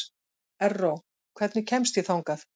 Erró, hvernig kemst ég þangað?